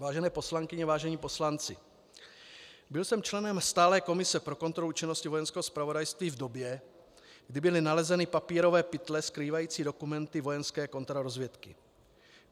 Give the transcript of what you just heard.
Vážené poslankyně, vážení poslanci, byl jsem členem Stálé komise pro kontrolu činnosti Vojenského zpravodajství v době, kdy byly nalezeny papírové pytle skrývající dokumenty vojenské kontrarozvědky.